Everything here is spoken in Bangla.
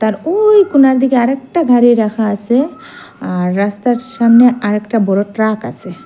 আর ওই কোণার দিকে আরেকটা গাড়ি রাখা আসে আর রাস্তার সামনে আরেকটা বড়ো ট্রাক আসে ।